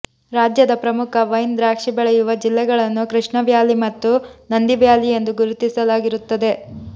ರಾಜ್ಯದ ಪ್ರಮುಖ ವೈನ್ ದ್ರಾಕ್ಷಿ ಬೆಳೆಯುವ ಜಿಲ್ಲೆಗಳನ್ನು ಕೃಷ್ಣವ್ಯಾಲಿ ಮತ್ತು ನಂದಿವ್ಯಾಲಿಯೆಂದು ಗುರುತಿಸಲಾಗಿರುತ್ತದೆ